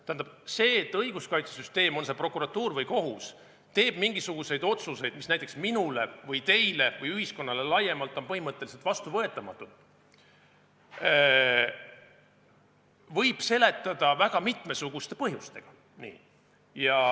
Tähendab, seda, et õiguskaitsesüsteem – on see prokuratuur või kohus – teeb mingisuguseid otsuseid, mis näiteks minule või teile või ühiskonnale laiemalt on põhimõtteliselt vastuvõetamatud, võib seletada väga mitmesuguste põhjustega.